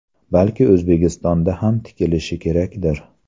Balki O‘zbekistonda ham tikilishi kerakdir.